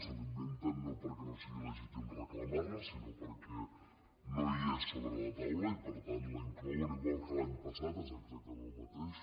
se la inventen no perquè no sigui legítim reclamar la sinó perquè no hi és sobre la taula i per tant la hi inclouen igual que l’any passat és exactament el mateix